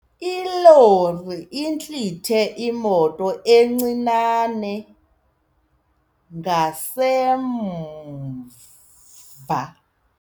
Ilori intlithe imoto encinane ngasemva.